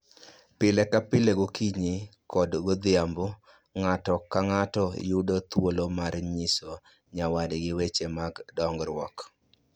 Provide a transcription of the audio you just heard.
Pile ka pile gokinyi koda odhiambo ng'ato ka ng'ato yudo thuolo mar nyiso nyawadgi weche mag dongruok